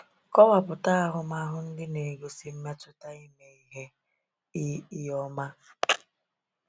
Kọwapụta ahụmahụ ndị na-egosi mmetụta ime ihe i i ọma.